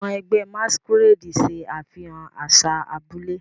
Àwọn ẹgbẹ́ Masquerade ṣe àfihàn àṣà abúlé.